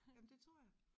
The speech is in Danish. Jamen det tror jeg